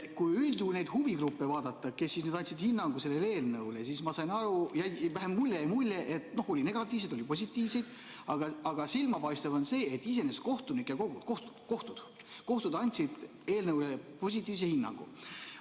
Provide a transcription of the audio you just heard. Kui üldjuhul vaadata neid huvigruppe, kes andsid sellele eelnõule hinnangu, siis ma sain aru või vähemalt mulle jäi mulje, et oli negatiivseid, oli positiivseid, aga silmapaistev on see, et iseenesest kohtud andsid eelnõule positiivse hinnangu.